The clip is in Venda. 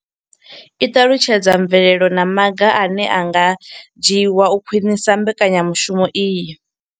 I ṱalutshedza mvelelo na maga ane a nga dzhiwa u khwinisa mbekanyamushumo iyi.